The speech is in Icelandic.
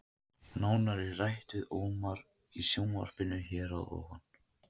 Nánar er rætt við Ómar í sjónvarpinu hér að ofan.